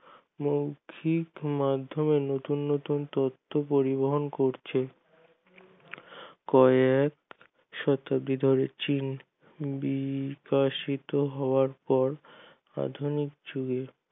মৌখক মাধ্যমে নতুন নতুন তথ্য পরিবহন করছে কয়েক সতবিজারের চিন বিকশিত হওয়ার পর প্রাথমিক চল